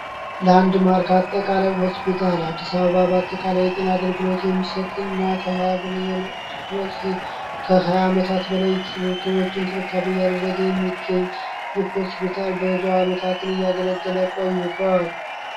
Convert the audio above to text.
ለአንድ ማርክ አጠቃላይ ሆስፒታል አዲሳ አባባ በአጠቃላይ የጤን አገልግሎት የሚሰጥ እና ከ20 በላይ ከ20 አመታት በላይ ክሊኒኮች እንክብካቤ ያደረገ የሚገኝ ይህ ሆስፒታል ብዙ አመታትን እያገለገለ ቆይቶአል።